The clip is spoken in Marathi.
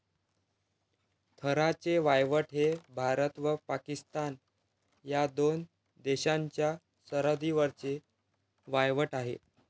थराचे वाळवंट हे भारत व पाकिस्तान या दोन देशांच्या सरहद्दीवरचे वाळवंट आहे.